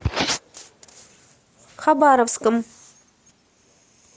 хабаровском